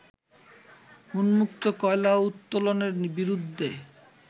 উন্মুক্ত কয়লা উত্তোলনের বিরুদ্ধে